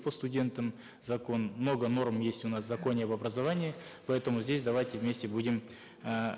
по студентам закон много норм есть у нас в законе об образовании поэтому здесь давайте вместе будем эээ